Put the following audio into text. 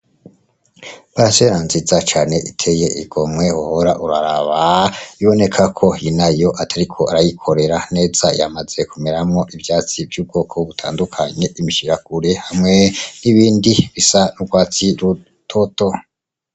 Parisera nziza cane iteye igomwe wohora uraraba, iboneka ko inayo atariko arayikorera neza, yamaze kumeramwo ivyatsi vy'ubwoko butandukanye, imishirakure hamwe n'ibindi bisa n'urwatsi rutoto.